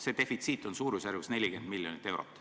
See defitsiit on suurusjärgus 40 miljonit eurot.